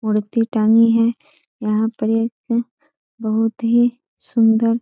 मूर्ति टंगी है यहाँ पर एक बहुत ही सुंदर --